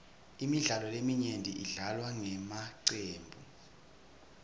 imidlalo leminyenti idlalwa ngemacembu